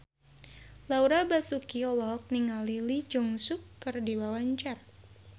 Laura Basuki olohok ningali Lee Jeong Suk keur diwawancara